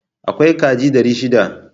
Akwai kaji dari shida.